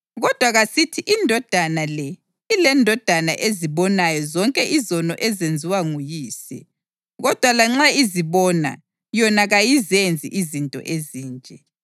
Kodwa kasithi indodana le ilendodana ezibonayo zonke izono ezenziwa nguyise, kodwa lanxa izibona, yona kayizenzi izinto ezinje: